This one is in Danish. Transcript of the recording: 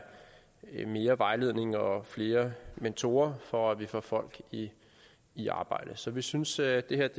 mere vejledning og flere mentorer for at vi får folk i i arbejde så vi synes at det her